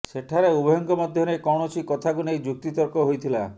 ସେଠାରେ ଉଭୟଙ୍କ ମଧ୍ୟରେ କୌଣସି କଥାକୁ ନେଇ ଯୁକ୍ତିତର୍କ ହୋଇଥିଲା